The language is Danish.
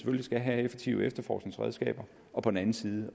skal have effektive efterforskningsredskaber og på den anden side